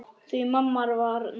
Því mamma var nagli.